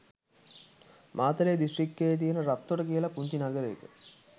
මාතලේ දිස්ත්‍රිකයේ තියන රත්තොට කියල පුංචි නගරයක.